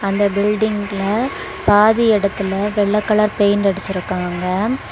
அந்த பில்டிங்ல பாதி எடத்துல வெள்ள கலர் பெயிண்ட் அடிச்சுருக்காங்க.